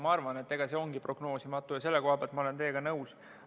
Ma arvan, et see ongi prognoosimatu, ja selle koha pealt ma olen teiega nõus.